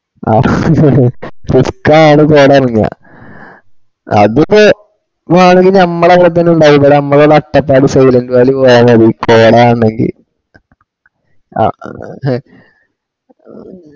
ആഹ് ഇപ്പയ ആട കോട ഇറങ്ങ. അതിപ്പോ വേണെങ്കില് ഞമ്മളെ അങ്ങട്ട് ഉണ്ടായി ഇവിടെ ഞമ്മളെ അട്ടപ്പാടി സൈലന്റ് വാലി പോയാ മതി കോട കാണങ്കിൽ